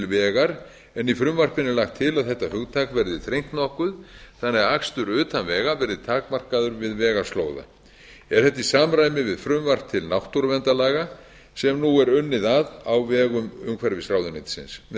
vegar en í frumvarpinu er lagt til að þetta hugtak verði þrengt nokkuð þannig að akstur utan vega verði takmarkaður við vega slóða er þetta í samræmi við frumvarp til náttúruverndarlaga sem nú er unnið að á vegum umhverfisráðuneytisins með